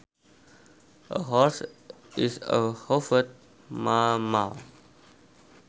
A horse is a hoofed mammal